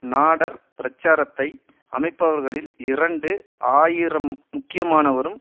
Nader பிரச்சாரத்தை அமைப்பவர்களில் இரண்டு ஆயிரம் முக்கியமானவரும்